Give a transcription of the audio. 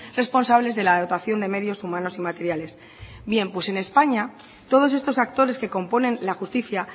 responsables de la dotación de medios humanos y materiales bien pues en españa todos estos actores que componen la justicia